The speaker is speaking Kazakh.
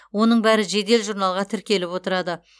оның бәрі жедел журналға тіркеліп отырады